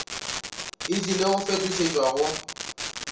e tlile go fetošetšwa go